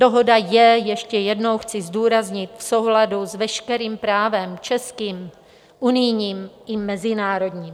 Dohoda je, ještě jednou chci zdůraznit, v souladu s veškerým právem, českým, unijním i mezinárodním.